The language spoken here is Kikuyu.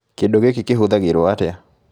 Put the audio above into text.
Kĩndũ gĩkĩ kĩhũthagĩrwo atĩa?